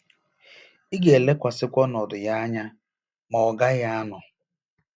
“Ị ga-elekwasịkwa ọnọdụ ya anya, ma ọ gaghị anọ.